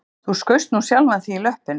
Þú skaust nú sjálfan þig í löppina